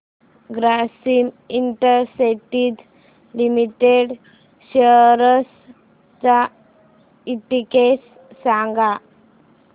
Grasim industries limited shares चा index सांगा